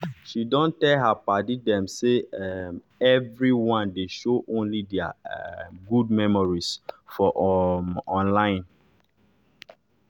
she don tell her padi dem say um everyone dey show only deir um good memories for um online